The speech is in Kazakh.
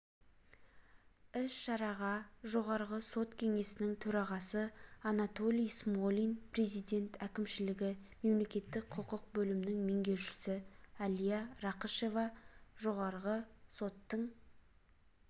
іс-шараға жоғары сот кеңесінің төрағасы анатолий смолин президент әкімшілігі мемлекеттік-құқық бөлімінің меңгерушісі әлия рақышева жоғарғы соттың